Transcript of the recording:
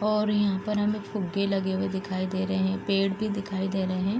और यहाँ पर हमें फुग्गे लगे हुए दिखाई दे रहे हैं पेड़ भी दिखाई दे रहे हैं।